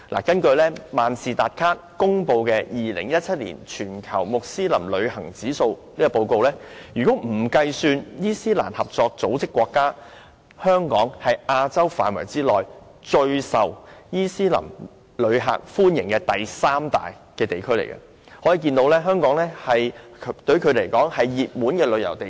根據萬事達卡公布的 "2017 年全球穆斯林旅行指數"，若不計算伊斯蘭合作組織的成員國，香港是亞洲區內最受穆斯林旅客歡迎的第三大地區，可見香港是他們的熱門旅遊地點。